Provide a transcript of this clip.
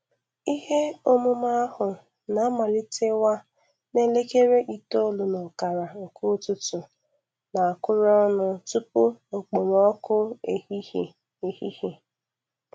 Ihe omume ahụ na-amalitewa n'elekere itolu n'okara.nke ụtụtụ na-akụrụ ọnụ tupu okpomọkụ ehihe. ehihe.